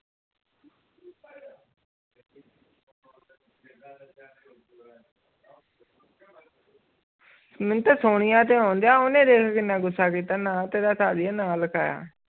ਮੈਨੂੰ ਤੇ ਸੁਣੀਆਂ ਤੇ ਹੋਵਾਂ ਦੀਆ ਓਨਾ ਦੇਖੋ ਕਿੰਨਾ ਗੁਸਾ ਕੀਤਾ ਨਾ ਤੇਰੇ ਸਾਲੀਏ ਨਾ ਲਿਖਾਇਆ